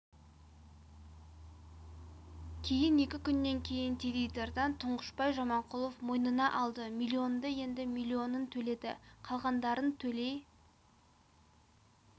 кейін екі күннен кейін теледидардан тұңғышбай жаманқұлов мойнына алды миллионды енді миллионын төледі қалғандарын төлей